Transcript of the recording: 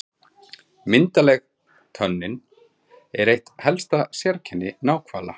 Myndarleg tönnin er eitt helsta sérkenni náhvala.